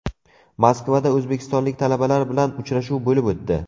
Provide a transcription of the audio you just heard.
Moskvada o‘zbekistonlik talabalar bilan uchrashuv bo‘lib o‘tdi.